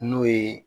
N'o ye